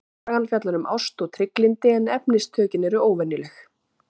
Sagan fjallar um ást og trygglyndi en efnistökin eru óvenjuleg.